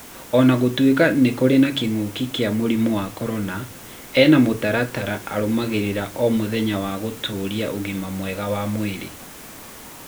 Ona gũtuĩka nĩ kũ ri na kĩngũki kĩa mũrimũ wa korona, ena mũtaratara arũmagĩrĩra o mũthenya wa gũtũũria ũgima mwega wa mwĩrĩ.